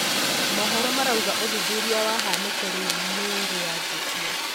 Mohoro marauga ũthûthurĩa wa haniko riu nirianjitie.